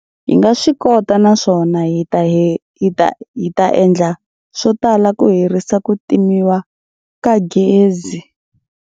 Hi nga swi kota naswona hi ta endla swo tala ku herisa ku timiwa ka gezi.